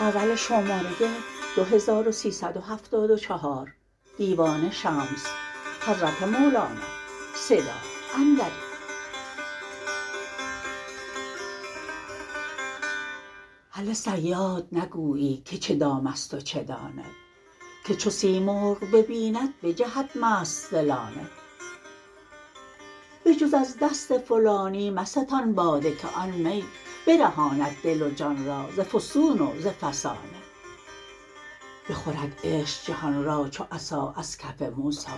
هله صیاد نگویی که چه دام است و چه دانه که چو سیمرغ ببیند بجهد مست ز لانه بجز از دست فلانی مستان باده که آن می برهاند دل و جان را ز فسون و ز فسانه بخورد عشق جهان را چو عصا از کف موسی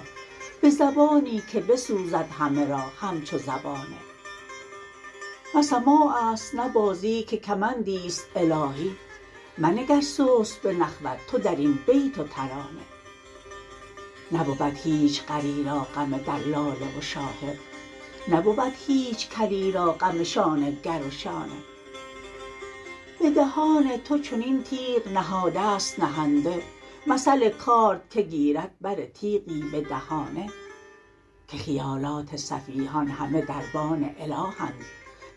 به زبانی که بسوزد همه را همچو زبانه نه سماع است نه بازی که کمندی است الهی منگر سست به نخوت تو در این بیت و ترانه نبود هیچ غری را غم دلاله و شاهد نبود هیچ کلی را غم شانه گر و شانه به دهان تو چنین تیغ نهاده ست نهنده مثل کارد که گیرد بر تیغی به دهانه که خیالات سفیهان همه دربان الهند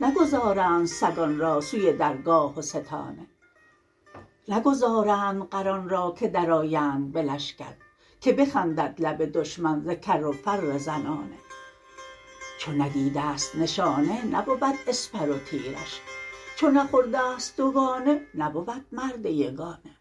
نگذارند سگان را سوی درگاه و ستانه نگذارند غران را که درآیند به لشکر که بخندد لب دشمن ز کر و فر زنانه چو ندیده ست نشانه نبود اسپر و تیرش چو نخورده ست دوگانه نبود مرد یگانه